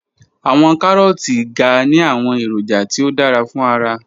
Awọn Karooti ga ni awọn eroja ti o dara fun ara